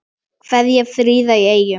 Kveðja, Fríða í Eyjum